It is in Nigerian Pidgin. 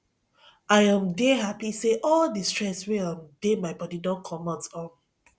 i um dey happy say all the stress wey um dey my body don comot um